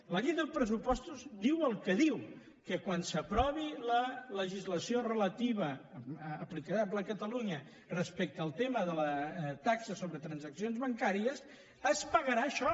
la llei dels pressupostos diu el que diu que quan s’aprovi la legislació relativa aplicable a catalunya respecte al tema de la taxa sobre transaccions bancàries es pagarà això